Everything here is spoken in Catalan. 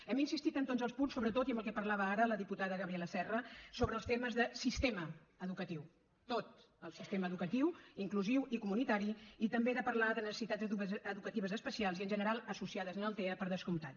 hem insistit en tots els punts sobretot i en el que parlava ara la diputada gabriela serra sobre els temes de sistema educatiu tot el sistema educatiu inclusiu i comunitari i també de parlar de necessitats educatives especials i en general associades al tea per descomptat